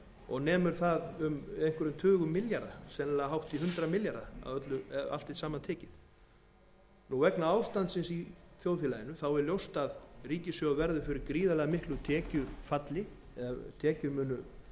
og nemur það einhverjum tugum milljarða sennilega hátt í hundrað milljarða ef allt er saman tekið vegna ástandsins í þjóðfélaginu er ljóst að ríkissjóður verður fyrir gríðarlega miklu tekjufalli eða tekjur